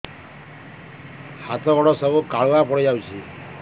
ହାତ ଗୋଡ ସବୁ କାଲୁଆ ପଡି ଯାଉଛି